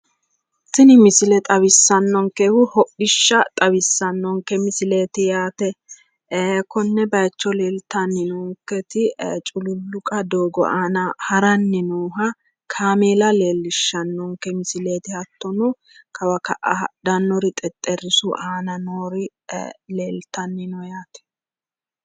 Tini misile xawissannonkehu hodhishsha xawissannonke misileeti yaate. Konne bayicho leeltanni noonketi cululluqa doogo aana haranni nooha kaameela leellishshannonke misileeti. Hattono kawa ka'a hadhannori xexxerisu aana noori leeltanni no yaate.